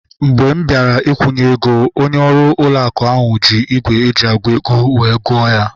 Oge m bịara ikwunye ego, onye ọrụ ụlọ akụ ahu ji ígwè eji agụ ego wee gụọ ya